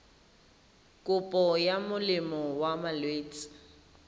kopo ya molemo wa malwetse